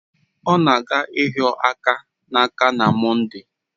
Ọ na-aga ịhịo aka n'aka na Mọnde